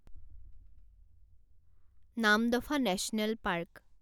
Namdapha National park